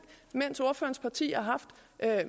mens ordførerens parti har haft